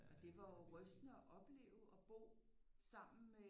Og det var jo rystende at opleve og bo sammen med